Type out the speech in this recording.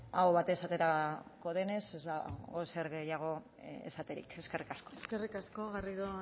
aho batez esaterako denez ez dago ezer gehiago esaterik eskerrik asko eskerrik asko garrido